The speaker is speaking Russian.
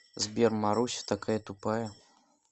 сбер маруся такая тупая